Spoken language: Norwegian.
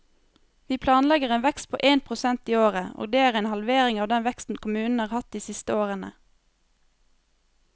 Vi planlegger en vekst på én prosent i året, og det er en halvering av den veksten kommunen har hatt de siste årene.